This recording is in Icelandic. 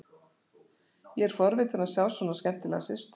Ég er forvitinn að sjá svona skemmtilega systur.